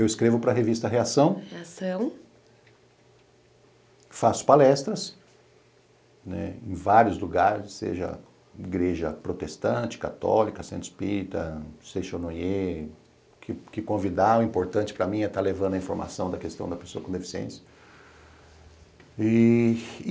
Eu escrevo para a revista Reação, faço palestras, né, em vários lugares, seja igreja protestante, católica, centro espírita, que convidar, o importante para mim é estar levando a informação da questão da pessoa com deficiência. E